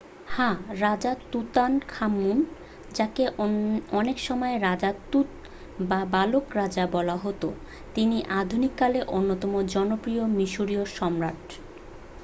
হ্যাঁ রাজা তুতানখামুন যাঁকে অনেকসময় রাজা তুত বা বালক রাজা বলা হত তিনিই আধুনিককালের অন্যতম জনপ্রিয় মিশরিয় সম্রাট